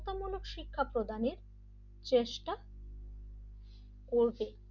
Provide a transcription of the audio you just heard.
যে কোন শিক্ষা প্রদানের চেষ্টা করবে,